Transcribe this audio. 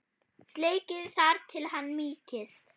Steikið þar til hann mýkist.